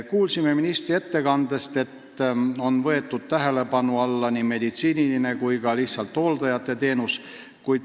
Kuulsime ministri ettekandest, et tähelepanu alla on võetud nii meditsiiniline kui ka lihtsalt hooldajate teenus.